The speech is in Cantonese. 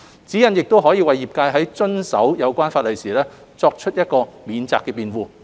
指引亦可為業界在遵守有關法例時作為免責辯護。